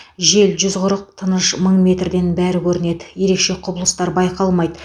жел жүз қырық тыныш мың метрден бәрі көрінеді ерекше құбылыстар байқалмайды